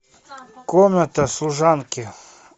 комната служанки